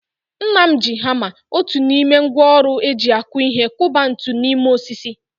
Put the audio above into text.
Nna m ji hama, otu n'ime ngwaọrụ eji akụ ihe kụba ntu n'ime osisi